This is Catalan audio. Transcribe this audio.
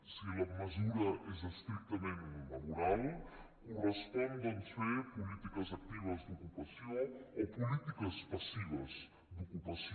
si la mesura és estrictament laboral correspon doncs fer polítiques actives d’ocupació o polítiques passives d’ocupació